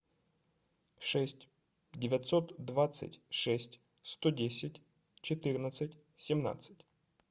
шесть девятьсот двадцать шесть сто десять четырнадцать семнадцать